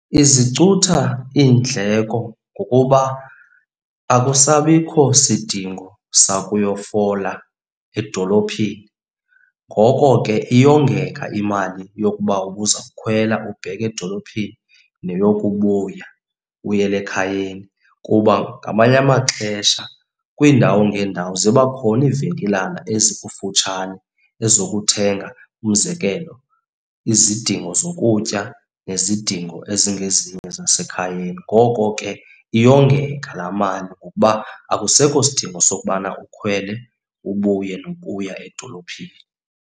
Izicutha iindleko ngokuba akusabikho sidingo sakuyokufola edolophini, ngoko ke iyongeka imali yokuba ubuza kukhwela ubheka edolophini neyokubuya, ubuyele ekhayeni. Kuba ngamanye amaxesha kwiindawo ngeendawo ziba khona iivenkilana ezikufutshane ezokuthenga. Umzekelo izidingo zokutya nezidingo ezingezinye zasekhayeni. Ngoko ke iyongeka laa mali ngokuba akusekho sidingo sokubana ukhwele ubuye nokuya edolophini.